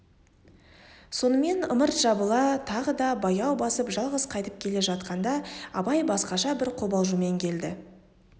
сонымен ымырт жабыла тағы да баяу басып жалғыз қайтып келе жатқанда абай басқаша бір қобалжумен келді